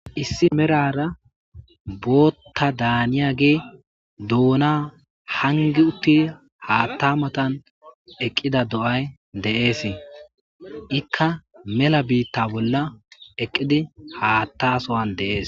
Issi merara botha daniyagey dona hangi utidi hangi uttidayssi haatha mattan deyees ikka mella bitta bolla eqqidi hata sohandees.